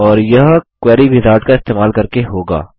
और यह query wizard का इस्तेमाल करके होगा